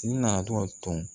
I nana dɔ ton